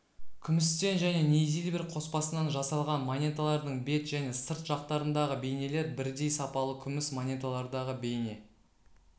күмістен және нейзильбер қоспасынан жасалған монеталардың бет және сырт жақтарындағы бейнелер бірдей сапалы күміс монеталардағы бейне